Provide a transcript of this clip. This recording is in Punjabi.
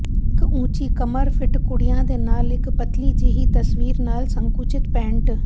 ਇੱਕ ਉੱਚੀ ਕਮਰ ਫਿੱਟ ਕੁੜੀਆਂ ਦੇ ਨਾਲ ਇੱਕ ਪਤਲੀ ਜਿਹੀ ਤਸਵੀਰ ਨਾਲ ਸੰਕੁਚਿਤ ਪੈਂਟ